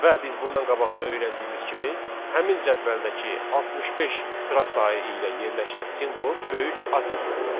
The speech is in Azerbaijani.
Və biz bundan qabaq da öyrəndiyimiz kimi həmin cədvəldəki 65 sıra sayı ilə yerləşən simvol böyük A simvoludur.